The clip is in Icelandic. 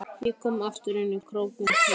Ég kom aftur inn í krókinn til hans.